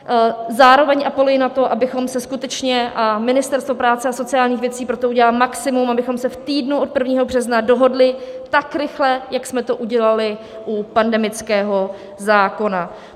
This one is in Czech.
Zároveň apeluji na to, abychom se skutečně - a Ministerstvo práce a sociálních věcí pro to udělá maximum - abychom se v týdnu od 1. března dohodli tak rychle, jak jsme to udělali u pandemického zákona.